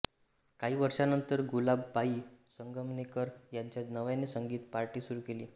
काही वर्षांनंतर गुलाबबाई संगमनेरकर यांच्या नावाने संगीत पार्टी सुरू केली